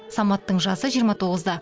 саматтың жасы жиырма тоғызда